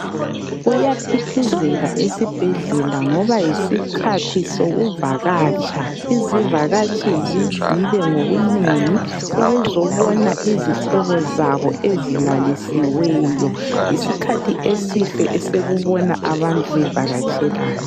Kuyaphithizela esibhedlela ngoba yisikhathi sokuvakatsha, izivakatshi zizile ngobunengi ukuzobona izihlobo zabo ezilalisiweyo yisikhathi esihle esekubona abantu bevakatshelana.